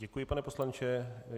Děkuji, pane poslanče.